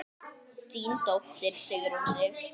Þín dóttir, Sigrún Sif.